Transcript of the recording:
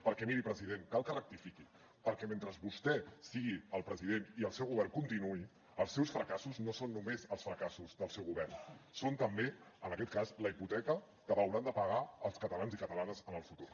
perquè miri president cal que rectifiqui perquè mentre vostè sigui el president i el seu govern continuï els seus fracassos no són només els fracassos del seu govern són també en aquest cas la hipoteca que hauran de pagar els catalans i catalanes en el futur